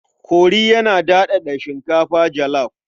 Kori yana daɗaɗa shinkafa jalaf.